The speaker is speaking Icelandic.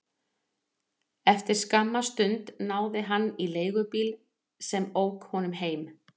Eftir skamma stund náði hann í leigubíl sem ók honum heim.